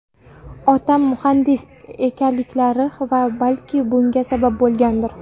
Otam muhandis ekanliklari ham balki bunga sabab bo‘lgandir.